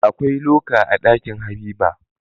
Akwai loka a Ɗakin habiba